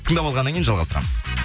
тыңдап алғаннан кейін жалғастырамыз